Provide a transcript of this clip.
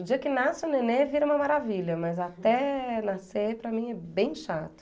O dia que nasce o nenê vira uma maravilha, mas até nascer, para mim, é bem chato.